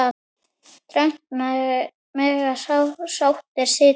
Þröngt mega sáttir sitja.